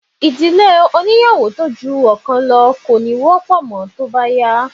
Ìdílé oníyàwó tó ju ọ̀kan lọ kò ní wọ́pọ̀ mọ́ tó bá yá